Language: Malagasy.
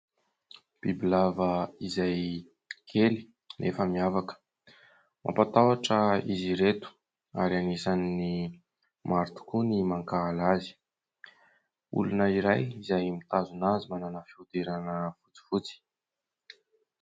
Bibilava izay kely nefa miavaka. Mampatahotra izy ireto ary anisan'ny maro tokoa ny mankahala azy. Olona iray izay mitazona azy manana fihodirana fotsifotsy.